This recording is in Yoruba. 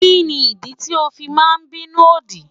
Kí ni ìdí tí o fi máa bínú òdì?